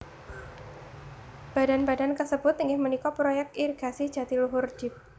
Badan badan kasebut inggih punika Proyek Irigasi Jatiluhur Dep